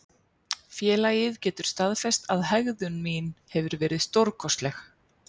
Félagið getur staðfest að hegðun mín hefur verið stórkostlegt.